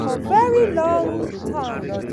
for very long time.